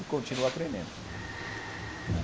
E continuo aprendendo. né